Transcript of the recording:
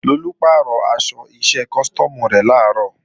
Lolú pàrọ̀ aṣọ iṣẹ́ custom rẹ̀ làárọ̀